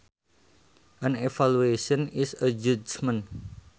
An evaluation is a judgement